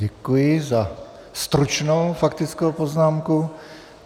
Děkuji za stručnou faktickou poznámku.